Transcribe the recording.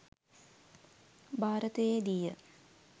භාරතයේදී ය.